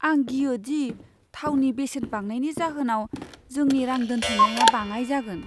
आं गियो दि थावनि बेसेन बांनायनि जाहोनाव जोंनि रां दोनथुमनाया बाङाइ जागोन।